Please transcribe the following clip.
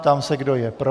Ptám se, kdo je pro.